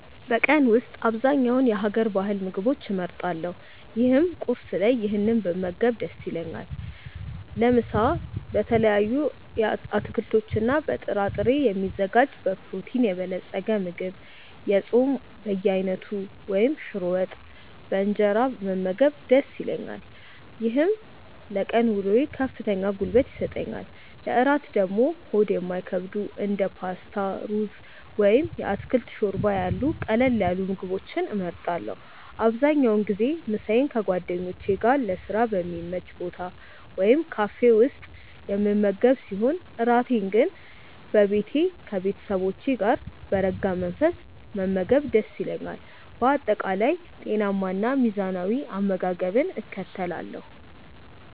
በቀን ውስጥ በአብዛኛው የሀገር ባህል ምግቦችን እመርጣለሁ ይህም ቁርስ ላይ ይህንን ብመገብ ደስ ይለኛል። ለምሳ በተለያዩ አትክልቶችና በጥራጥሬ የሚዘጋጅ በፕሮቲን የበለፀገ ምግብ፣ የጾም በየአይነቱ ወይም ሽሮ ወጥ በእንጀራ መመገብ ደስ ይለኛል። ይህም ለቀን ውሎዬ ከፍተኛ ጉልበት ይሰጠኛል። ለእራት ደግሞ ሆድ የማይከብዱ እንደ ፓስታ፣ ሩዝ ወይም የአትክልት ሾርባ ያሉ ቀለል ያሉ ምግቦችን እመርጣለሁ። አብዛኛውን ጊዜ ምሳዬን ከጓደኞቼ ጋር ለስራ በሚመች ቦታ ወይም ካፌ ውስጥ የምመገብ ሲሆን፣ እራቴን ግን በቤቴ ከቤተሰቦቼ ጋር በረጋ መንፈስ መመገብ ደስ ይለኛል። በአጠቃላይ ጤናማና ሚዛናዊ አመጋገብን እከተላለሁ።